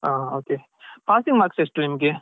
ಹಾ okay passing marks ಎಷ್ಟು ನಿಮ್ಗೆ.